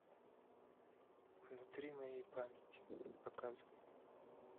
внутри моей памяти показывай